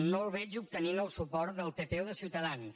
no el veig obtenint el suport del pp o de ciutadans